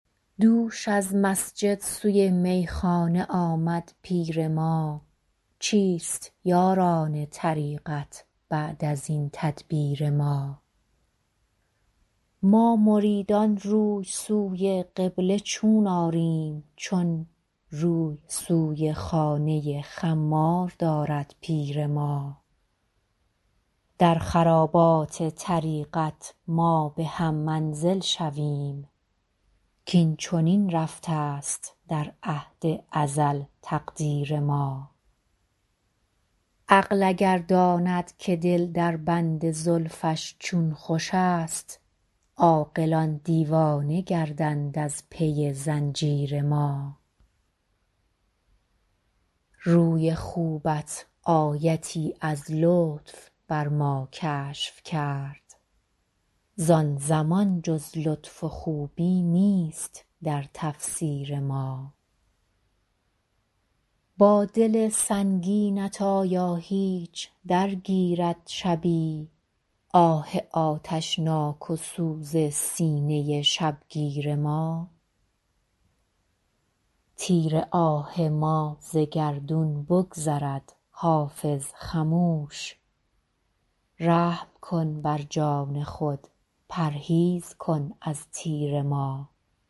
دوش از مسجد سوی میخانه آمد پیر ما چیست یاران طریقت بعد از این تدبیر ما ما مریدان روی سوی قبله چون آریم چون روی سوی خانه خمار دارد پیر ما در خرابات طریقت ما به هم منزل شویم کاین چنین رفته است در عهد ازل تقدیر ما عقل اگر داند که دل در بند زلفش چون خوش است عاقلان دیوانه گردند از پی زنجیر ما روی خوبت آیتی از لطف بر ما کشف کرد زان زمان جز لطف و خوبی نیست در تفسیر ما با دل سنگینت آیا هیچ درگیرد شبی آه آتشناک و سوز سینه شبگیر ما تیر آه ما ز گردون بگذرد حافظ خموش رحم کن بر جان خود پرهیز کن از تیر ما